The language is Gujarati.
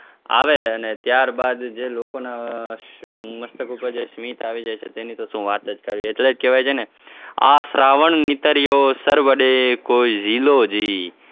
આવે અને ત્યારબાદ જે લોકોના મસ્તક ઉપર જે સ્મિત આવી જાય છે તેની કોઈ શું વાત જ કરવી એટલે જ કહેવાય છે ને આ શ્રાવણ નીતર્યો સર્વદે કોઈ ઝીલો જી